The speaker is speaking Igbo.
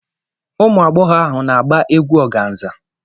Ụmụ agbọghọ ahụ na-agba egwú organza.